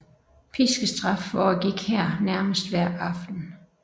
Piskestraf foregik her nærmest hver aften